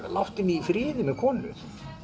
láttu mig í friði með konu